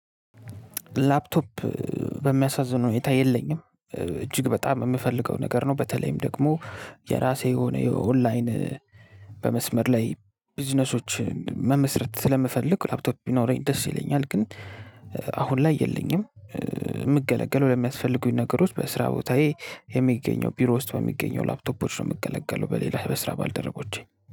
ላፕቶፕ በሚያሳዝነው ሁኔታ የለኝም እጅግ በጣም የምፈልገው ነገር ነው። በተለይም ደግሞ የራሴ የሆነ የኦንላይን በመስመር ላይ ቢዝነሶችን መመስረት ስለምፈልግ ላፕቶፕ ቢኖረኝ ደስ ይለኛል። ግን አሁን ላይ የለኝም። ምገለገው ለሚያስፈልጉኝ ነገሮች በስራ ቦታዬ የሚገኘው ቢሮ ውስጥ በሚገኘው ላፕቶፖች ነው የምገለገለው በሌላ በስራ ባልደረቦቼ